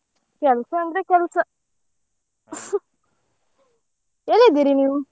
ಕೆಲ್ಸ ಅಂದ್ರೆ ಕೆಲ್ಸ. ಎಲ್ಲಿದ್ದೀರಿ ನೀವು?